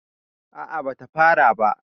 a a bata fara ba